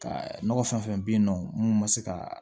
Ka nɔgɔ fɛn fɛn bɛ yen nɔ mun ma se ka